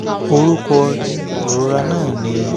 orúkọ ìrora náà ni